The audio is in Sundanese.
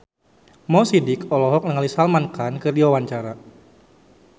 Mo Sidik olohok ningali Salman Khan keur diwawancara